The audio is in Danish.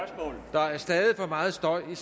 der er stadig for meget støj